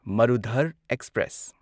Marudhar express